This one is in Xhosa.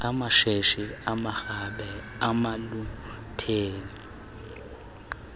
amatshetshi amarhabe namaluthere